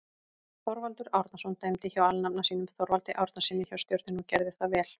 Þorvaldur Árnason dæmdi hjá alnafna sínum Þorvaldi Árnasyni hjá Stjörnunni og gerði það vel.